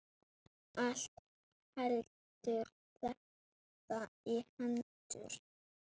Allt helst þetta í hendur.